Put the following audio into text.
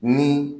Ni